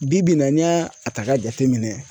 Bi bi in na n'i y'a a ta k'a jate minɛn